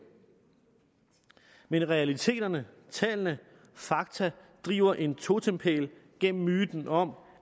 men realiteterne tallene fakta driver en totempæl igennem myten om